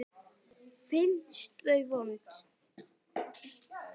Finnst þau vond.